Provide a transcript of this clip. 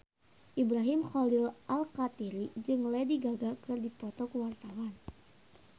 Ibrahim Khalil Alkatiri jeung Lady Gaga keur dipoto ku wartawan